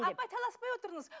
апай таласпай отырыңыз